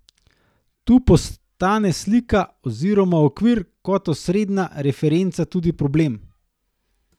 Tu postane slika oziroma okvir kot osrednja referenca tudi problem.